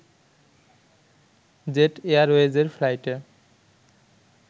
jet এয়ারওয়েজের ফ্লাইটে